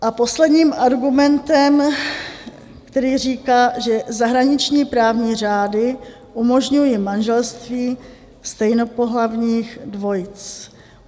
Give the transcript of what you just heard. A posledním argumentem, který říká, že zahraniční právní řády umožňují manželství stejnopohlavních dvojic.